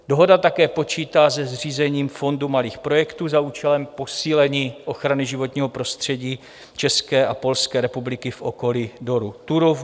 Dohoda také počítá se zřízením Fondu malých projektů za účelem posílení ochrany životního prostředí České a Polské republiky v okolí dolu Turów.